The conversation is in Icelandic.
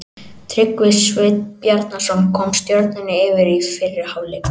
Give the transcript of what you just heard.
Tryggvi Sveinn Bjarnason kom Stjörnunni yfir í fyrri hálfleik.